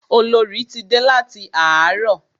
Olorì ti dé láti àárọ̀.